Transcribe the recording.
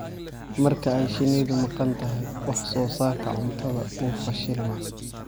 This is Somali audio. Marka ay shinnidu maqan tahay, wax-soo-saarka cuntadu wuu fashilmaa.